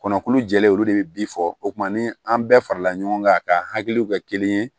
Kɔnɔkulu jɛlen olu de bɛ bi fɔ o kuman ni an bɛɛ farala ɲɔgɔn kan k'a hakiliw kɛ kelen ye